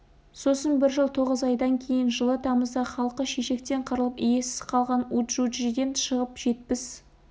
сосын бір жыл тоғыз айдан кейін жылы тамызда халқы шешектен қырылып иесіз қалған уджуджиден шығып жетпіс